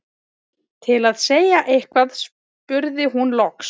Til að segja eitthvað spurði hún loks